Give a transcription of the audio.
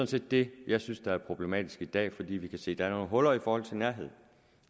set det jeg synes er problematisk i dag fordi vi kan se at der er nogle huller i forhold til nærhed